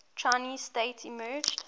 chinese state emerged